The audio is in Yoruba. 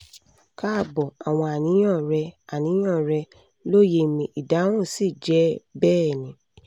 kaabo! awọn aniyan rẹ aniyan rẹ loye mi! idahun si jẹ bẹẹni